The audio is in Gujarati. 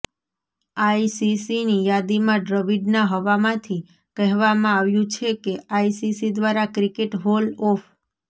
આઈસીસીની યાદીમાં દ્રવિડના હવામાંથી કહેવામાં આવ્યું છે કે આઈસીસી દ્વારા ક્રિકેટ હોલ ઓફ